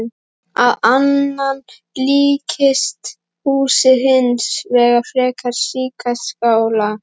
Að innan líkist húsið hins vegar frekar skíðaskála.